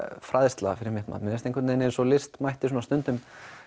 fræðsla fyrir mitt mat mér finnst einhvern veginn eins og list mætti stundum